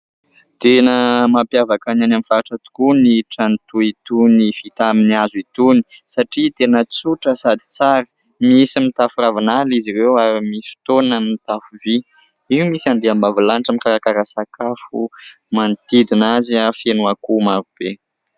Tena mampiavaka ny any amin'ny faritra tokoa ny trano toa itony vita amin'ny hazo itony satria tena tsotra sady tsara. Misy mitafo ravinala izy ireo ary misy fotoana mitafo vy. Io misy andriambavilanitra mikarakara sakafo, manodidina azy feno ankoho marobe.